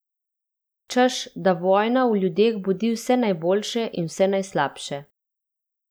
Češ, da vojna v ljudeh budi vse najboljše in vse najslabše.